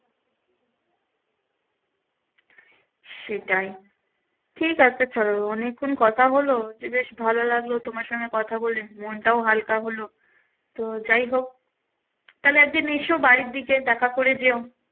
সেটাই ঠিক আছে চলো অনেক্ষন কথা হলো যে বেশ ভালো লাগলো তোমার সঙ্গে কথা বলে, মনটাও হালকা হলো তো যাই হোক তাহলে একদিন এস বাড়ির দিকে দেখা করে যেও